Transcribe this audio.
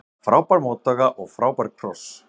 Frábær móttaka og frábær kross.